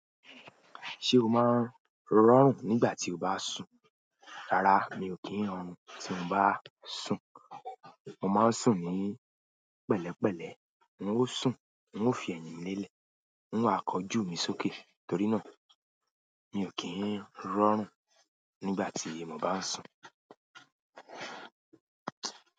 Ṣé o máa ń rọrùn nígbà tí o bá sùn? Rárá mi ò kí ń ọrun tí mo bá sùn. Mo máa ń sùn ní pẹ̀lẹ́pẹ̀lẹ́. N ó sùn, n ó fi ẹ̀yìn mí lélẹ̀. N ó ha kọjú mi sókè. Torí náà, mi ò kí ń rọrùn nígbà tí mo bá sùn.